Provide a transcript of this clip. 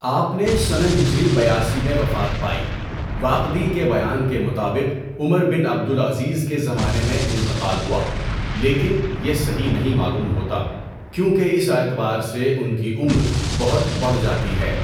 آپ نے سنہ ہجری بیاسی میں وفات پائی۔ واقدی کے بیان کے مطابق عمر بن عبد العزیز کے زمانے میں انتقال ہوا، لیکن یہ صحیح نہیں معلوم ہوتا کیونکہ اس اعتبار سے ان کی عمر بہت بڑھ جاتی ہے۔